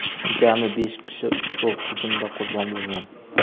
jami besh kishi ushbu hujumda qurbon bo‘lgan.